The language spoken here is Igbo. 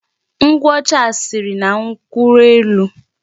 Nkwụ ọcha a siri na nkwụ elu.